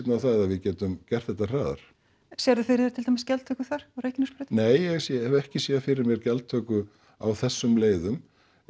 á það að við getum gert þetta hraðar sérðu fyrir þér til dæmis gjaldtöku þar á Reykjanesbrautinni nei ég hef ekki séð fyrir mér gjaldtöku á þessum leiðum